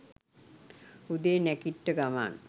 උදේ නැගිට්ට ගමන්